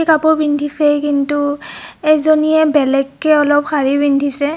একেই কাপোৰ পিন্ধিছে কিন্তু এজনীয়ে বেলেগ কে অলপ শাৰী পিন্ধিছে.